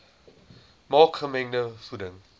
maak gemengde voeding